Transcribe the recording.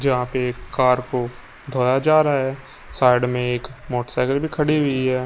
जहां पे कार को धोया जा रहा हैं साइड में एक मोटरसाईकल भी खड़ी हुई हैं।